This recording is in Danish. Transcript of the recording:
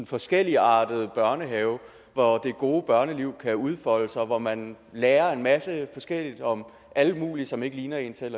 forskelligartet børnehave hvor det gode børneliv kan udfolde sig og hvor man lærer en masse forskelligt om alle mulige som ikke ligner en selv